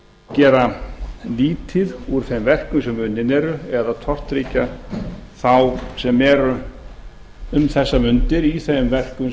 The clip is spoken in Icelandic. gera lítið úr þeim verkum sem unnin eru eða tortryggja þá sem eru um þessar mundir í þeim verkum